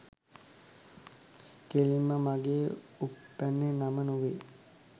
කෙලින්ම මගේ උප්පැන්නේ නම නොවේ.